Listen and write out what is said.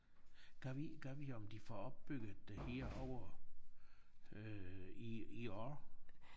Gad vide gad vide om de får opbygget det herovre øh i i år